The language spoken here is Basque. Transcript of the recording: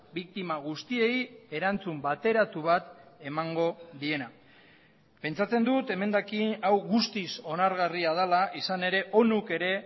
biktima guztiei erantzun bateratu bat emango diena pentsatzen dut emendakin hau guztiz onargarria dela izan ere onuk ere